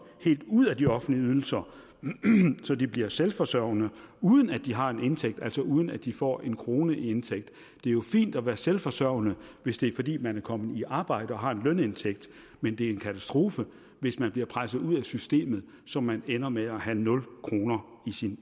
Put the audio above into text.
helt ud af de offentlige ydelser så de bliver selvforsørgende uden at de har en indtægt altså uden at de får en krone i indtægt det er jo fint at være selvforsørgende hvis det er fordi man er kommet i arbejde og har en lønindtægt men det er en katastrofe hvis man bliver presset ud af systemet så man ender med at have nul kroner